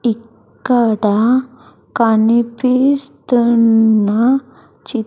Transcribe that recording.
ఇక్కడ కనిపిస్తున్న చి--